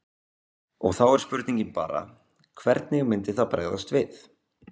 Og þá er spurningin bara hvernig myndi það bregðast við?